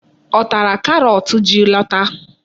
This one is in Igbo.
Ọ tara karọt ji lọta.